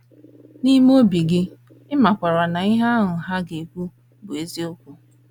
N’ime obi gị, ị makwaara na ihe ahụ ha ga - ekwu bụ eziokwu.